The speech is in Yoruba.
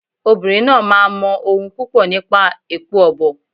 Obìnrin náà máa mọ ohun púpọ̀ nípa èpo ọ̀bọ̀.